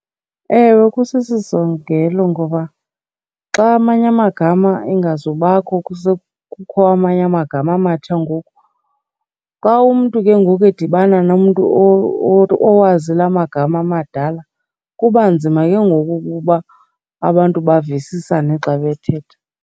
Ewe, kusisisongelo ngoba xa amanye amagama engazubakho kukho amanye amagama amatsha ngoku, xa umntu ke ngoku edibana nomntu owazi la magama amadala kuba nzima ke ngoku ukuba abantu bavisisane xa bethetha.